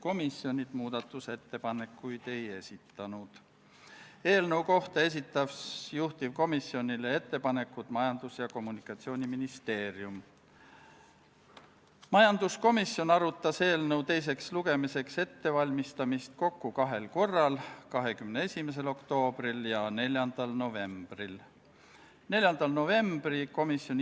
Käesoleva aasta 21. oktoobri istungil otsustas riigikaitsekomisjon konsensuslikult, et eelnõu esitatakse teiseks lugemiseks Riigikogu täiskogu päevakorda k.a 6. novembriks.